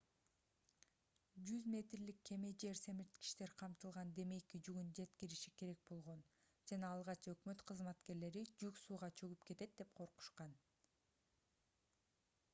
100 метрлик кеме жер семирткичтер камтылган демейки жүгүн жеткириши керек болгон жана алгач өкмөт кызматкерлери жүк сууга чөгүп кетет деп коркушкан